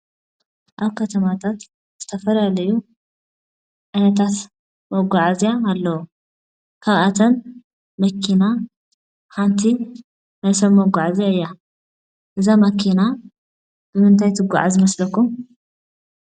ኣብ ከተማታት ዝተፈላለዩ ዓይነታት መጉዓዝያ ኣለው:: ካብኣቶም መኪና ሓንቲ ናይ ሰብ መጓዓዝያ እያ:: እዛ መኪና ንምንታይ ትጉዓዝ ይመስለኩም ?